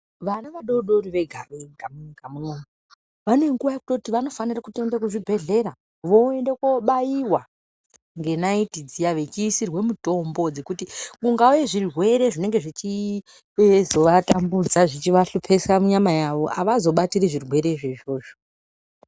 Vana vadodori vega vega munyika munomu vane nguwa yekuti vanofanire kutoenda kuzvibhehlera voende kobairwa ngenaiti dziya vechiisirwe mutombo dzekuti kukauye zvirwere zvechizovatambudza zvechivahlupa munyama yavo avazobatiri zvirwerezvo izvozvo.